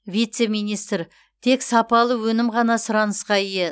вице министр тек сапалы өнім ғана сұранысқа ие